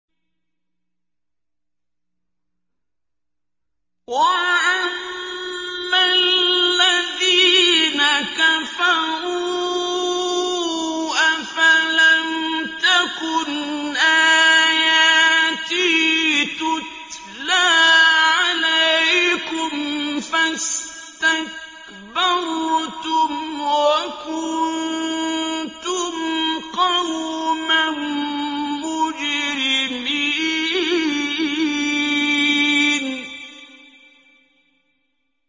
وَأَمَّا الَّذِينَ كَفَرُوا أَفَلَمْ تَكُنْ آيَاتِي تُتْلَىٰ عَلَيْكُمْ فَاسْتَكْبَرْتُمْ وَكُنتُمْ قَوْمًا مُّجْرِمِينَ